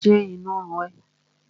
Ṣé inú ń run ẹ́?